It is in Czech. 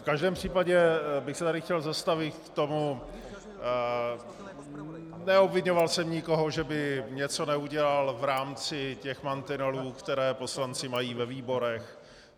V každém případě bych se tady chtěl zastavit u toho - neobviňoval jsem nikoho, že by něco neudělal v rámci těch mantinelů, které poslanci mají ve výborech.